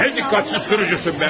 Ya, nə diqqətsiz sürücüsən be!